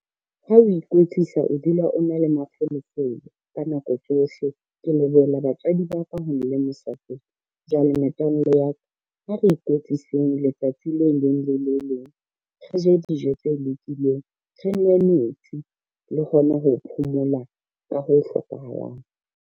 Ha o ikwetlisa o dula o na le mafolofolo ka nako tsohle, ke lebohela batswadi ba ka . Jwale metswalle ya ka, ha re ikwetliseng letsatsi le leng le le leng, re je dijo tse lokileng, re nwe metsi le hona ho phomola ka ho hlokahalang.